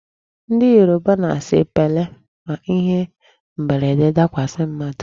Ndị Yoruba na-asị 'pele' ma ihe mberede dakwasị mmadụ.